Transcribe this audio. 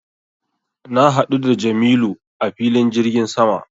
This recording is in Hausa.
Na haɗu da jamilu a filin jirgin sama